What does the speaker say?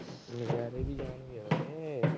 ਨਜ਼ਾਰੇ ਵੀ ਜਾਣਗੇ ਵੀਰੇ।